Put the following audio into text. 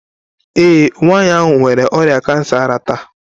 Ee, nwanyị ahụ nwere ọrịa kansa ara taa.